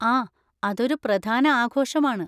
ആ, അതൊരു പ്രധാന ആഘോഷമാണ്.